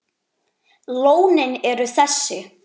Lónin eru þessi